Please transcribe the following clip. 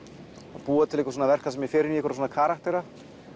að búa til verk þar sem ég fer inn í svona karaktera